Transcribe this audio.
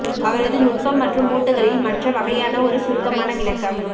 அவரது நுட்பம் மற்றும் மூட்டுகளில் மற்ற வகையான ஒரு சுருக்கமான விளக்கம்